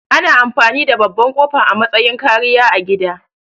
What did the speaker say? Ana amfani da babban ƙofa a matsayin kariya a gida